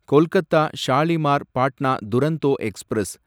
Kolkata Shalimar Patna Duronto express